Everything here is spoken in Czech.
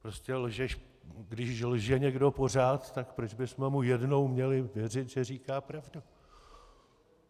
Prostě když lže někdo pořád, tak proč bychom mu jednou měli věřit, že říká pravdu?